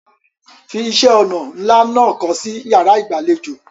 Fi iṣẹ́-ọnà ńlá náà kọ́ sí ìyàrá-ìgbàlejò.